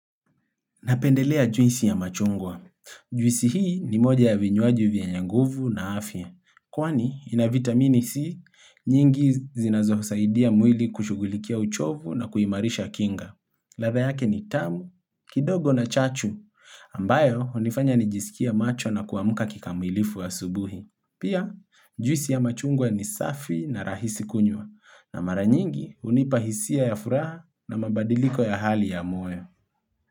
Napendelea juisi ya machungwa. Juisi hii ni moja ya vinywaji vyenye nguvu na afya. Kwani, ina vitamini C, nyingi zinazosaidia mwili kushugulikia uchovu na kuimarisha kinga. Ladha yake ni tamu, kidogo na chachu, ambayo hunifanya nijisikie macho na kuamka kikamilifu asubuhi. Pia, juisi ya machungwa ni safi na rahisi kunywa, na mara nyingi hunipa hisia ya furaha na mabadiliko ya hali ya moyo.